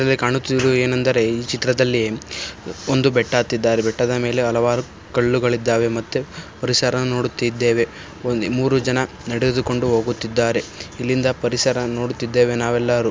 ಇಲ್ಲಿ ಕಾಣುತ್ತಿರುವುದು ಏನೆಂದರೆ ಈ ಚಿತ್ರದಲ್ಲಿ ಒಂದು ಬೆಟ್ಟ ಅತ್ತಿದ್ದಾರೆ . ಬೆಟ್ಟದ ಮೇಲೆ ಹಲವಾರು ಕಲ್ಲುಗಳಿದ್ದಾವೆ ಮತ್ತು ಪರಿಸರ ನೋಡುತ್ತಿದ್ದೇವೆ. ಒಂದ್ ಮೂರು ಜನ ನಡೆದುಕೊಂಡು ಓಗುತ್ತಿದ್ದಾರೆ . ಇಲ್ಲಿಂದ ಪರಿಸರ ನೋಡುವುತ್ತಿದ್ದೇವೆ ನಾವೆಲ್ಲಾರೂ..